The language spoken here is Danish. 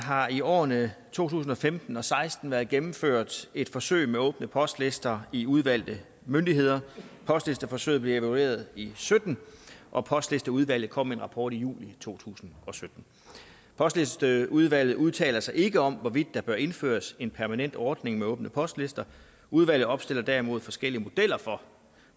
har i årene to tusind og femten og seksten været gennemført et forsøg med åbne postlister i udvalgte myndigheder postlisteforsøget blev evalueret i og sytten og postlisteudvalget kom med en rapport i juli to tusind og sytten postlisteudvalget udtaler sig ikke om hvorvidt der bør indføres en permanent ordning med åbne postlister udvalget opstiller derimod forskellige modeller for